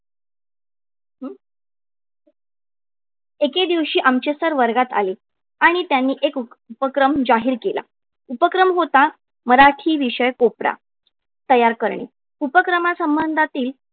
एके दिवशी आमचे sir वर्गात आले. आणि त्यांनी एक उपक्रम जाहीर केला. उपक्रम होता, मराठी विषय कोपरा तयार करणे. उपक्रमासंबंधातील